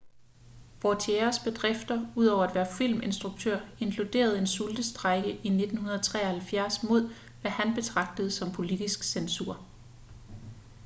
vautiers bedrifter ud over at være filminstruktør inkluderer en sultestrejke i 1973 mod hvad han betragtede som politisk censur